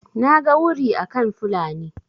naga wuri akan Fulani